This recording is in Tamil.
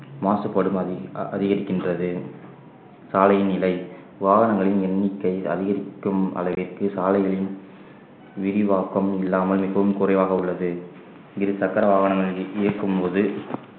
மாசுபாடும் அதி~ அதிகரிக்கின்றது சாலையின் நிலை வாகனங்களின் எண்ணிக்கை அதிகரிக்கும் அளவிற்கு சாலைகளின் விரிவாக்கம் இல்லாமல் மிகவும் குறைவாக உள்ளது இருசக்கர வாகனங்களில் இயக்கும்போது